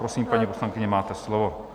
Prosím, paní poslankyně, máte slovo.